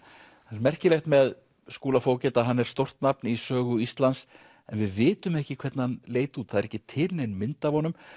það er merkilegt með Skúla fógeta að hann er stórt nafn í sögu Íslands en við vitum ekki hvernig hann leit út það er ekki til nein mynd af honum